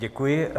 Děkuji.